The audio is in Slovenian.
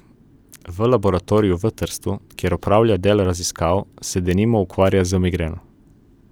V laboratoriju v Trstu, kjer opravlja del raziskav, se denimo ukvarja z migreno.